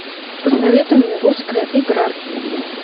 посоветуй мне русская игра